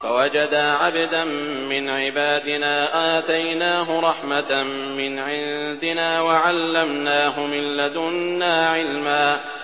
فَوَجَدَا عَبْدًا مِّنْ عِبَادِنَا آتَيْنَاهُ رَحْمَةً مِّنْ عِندِنَا وَعَلَّمْنَاهُ مِن لَّدُنَّا عِلْمًا